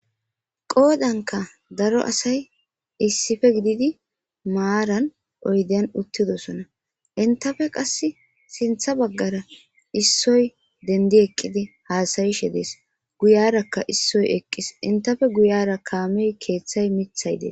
Qoodankka daro asayi daro asay issippi gididi oyden uttidoosona. Enttappe qasse sintha baggara issoyi denddi eqqidi hasayishe de'eesi. Guyaarakka issoy eqqis. Entappe guuyara kaamey,keethay,miththayi beteesi